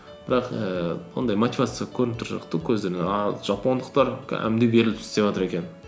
бірақ ііі ондай мотивация көрініп тұрған жоқ та көздерінен ал жапондықтар кәдімгідей беріліп істеватыр екен